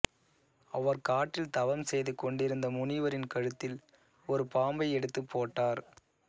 அவர் காட்டில் தவம் செய்து கொண்டிருந்த முனிவரின் கழுத்தில் ஒரு பாம்பை எடுத்துப் போட்டார்